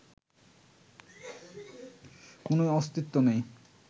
কোনো অস্তিত্ব নেই